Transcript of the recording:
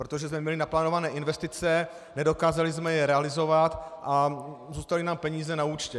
Protože jsme měli naplánované investice, nedokázali jsme je realizovat a zůstaly nám peníze na účtě.